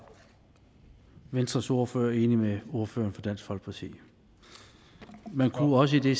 venstres ordfører enig med ordføreren for dansk folkeparti man kunne måske